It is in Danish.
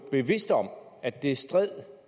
bevidst om at det stred